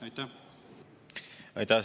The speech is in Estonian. Aitäh!